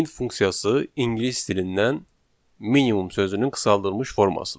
Min funksiyası ingilis dilindən minimum sözünün qısaldılmış formasıdır.